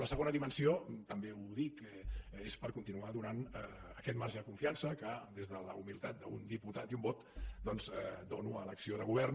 la segona dimensió també ho dic és per continuar donant aquest marge de confiança que des de la humilitat d’un diputat i un vot doncs dono a l’acció de govern